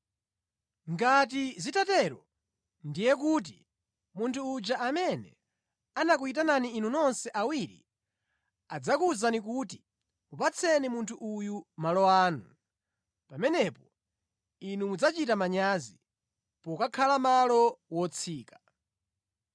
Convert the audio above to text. Ngati zitatero, ndiye kuti munthu uja amene anakuyitani inu nonse awiri adzakuwuzani kuti, ‘Mupatseni munthu uyu malo anu.’ Pamenepo inu mudzachita manyazi, pokakhala malo wotsika.